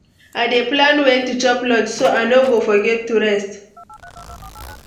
I dey plan when to chop lunch, so I no go forget to rest.